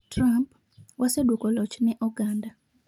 Trump: Wasedwoko loch ne oganda,